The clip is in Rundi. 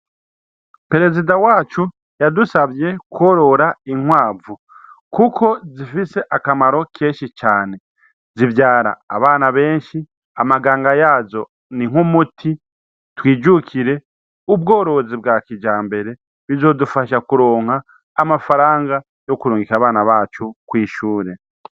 Perezida wacu yadusavye kworora inkwavu, kuko zifise akamaro kenshi cane zivyara abana benshi amaganga yajo ni nk'umuti twijukire ubworozi bwa kija mbere bizodufasha kuronka amafaranga yo kurungika bana bacu kwishure.